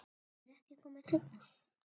Geturðu ekki komið seinna?